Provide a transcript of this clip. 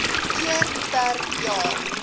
keer per jaar